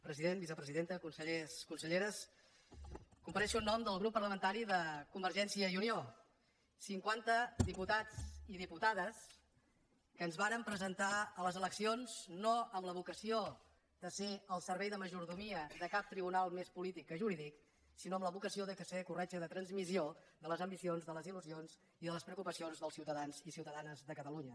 president vicepresidenta consellers conselleres compareixo en nom del grup parlamentari de convergència i unió cinquanta diputats i diputades que ens vàrem presentar a les eleccions no amb la vocació de ser el servei de majordomia de cap tribunal més polític que jurídic sinó amb la vocació de ser corretja de transmissió de les ambicions de les il·lusions i de les preocupacions dels ciutadans i ciutadanes de catalunya